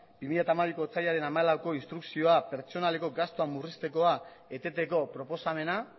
bi mila hamabiko otsailaren hamalaueko instrukzioa pertsonaleko gastu murriztekoa eteteko proposamena